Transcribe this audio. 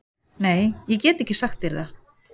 Nei, ég get ekki sagt þér það